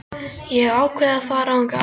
Ég hef ákveðið að fara þangað aldrei aftur.